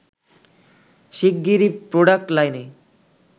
শিগগিরই প্রোডাক্ট লাইনে